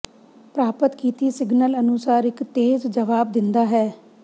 ਪ੍ਰਾਪਤ ਕੀਤੀ ਸਿਗਨਲ ਅਨੁਸਾਰ ਇੱਕ ਤੇਜ਼ ਜਵਾਬ ਦਿੰਦਾ ਹੈ